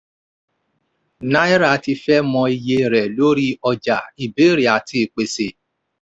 náírà ti fẹ́ mọ iye rẹ̀ lórí ọjà ìbéèrè àti ìpèsè.